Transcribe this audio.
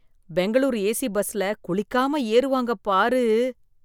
Bangalore AC பஸ்ல குளிக்காம ஏறுவாங்க பாரு.